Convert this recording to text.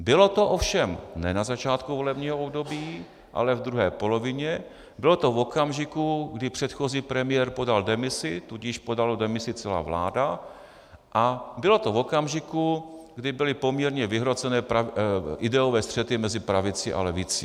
Bylo to ovšem ne na začátku volebního období, ale v druhé polovině, bylo to v okamžiku, kdy předchozí premiér podal demisi, tudíž podala demisi celá vláda, a bylo to v okamžiku, kdy byly poměrně vyhrocené ideové střety mezi pravicí a levicí.